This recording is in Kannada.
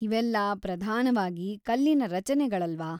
ಇವೆಲ್ಲಾ ಪ್ರಧಾನವಾಗಿ ಕಲ್ಲಿನ ರಚನೆಗಳಲ್ವಾ?